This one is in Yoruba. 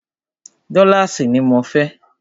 Dọ́láàsì ní mọ fẹ́!